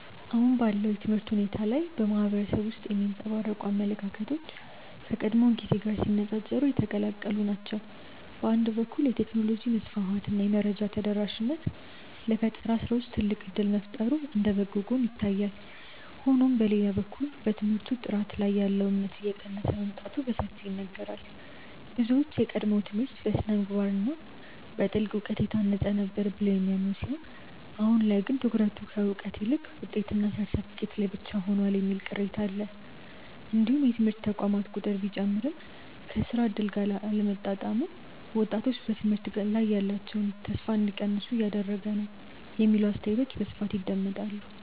አሁን ባለው የትምህርት ሁኔታ ላይ በማህበረሰቡ ውስጥ የሚንጸባረቁ አመለካከቶች ከቀድሞው ጊዜ ጋር ሲነፃፀሩ የተቀላቀሉ ናቸው። በአንድ በኩል የቴክኖሎጂ መስፋፋት እና የመረጃ ተደራሽነት ለፈጠራ ስራዎች ትልቅ እድል መፍጠሩ እንደ በጎ ጎን ይታያል። ሆኖም በሌላ በኩል በትምህርት ጥራት ላይ ያለው እምነት እየቀነሰ መምጣቱ በሰፊው ይነገራል። ብዙዎች የቀድሞው ትምህርት በስነ-ምግባር እና በጥልቅ እውቀት የታነጸ ነበር ብለው የሚያምኑ ሲሆን አሁን ላይ ግን ትኩረቱ ከእውቀት ይልቅ ውጤትና ሰርተፍኬት ላይ ብቻ ሆኗል የሚል ቅሬታ አለ። እንዲሁም የትምህርት ተቋማት ቁጥር ቢጨምርም ከስራ እድል ጋር አለመጣጣሙ ወጣቶች በትምህርት ላይ ያላቸውን ተስፋ እንዲቀንሱ እያደረገ ነው የሚሉ አስተያየቶች በስፋት ይደመጣሉ።